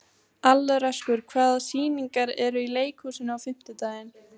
Alrekur, hvaða sýningar eru í leikhúsinu á fimmtudaginn?